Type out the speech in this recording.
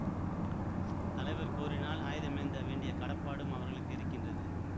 தலைவர் கோரினால் ஆயுதமேந்த வேண்டிய கடப்பாடும் அவர்களுக்கு இருக்கின்றது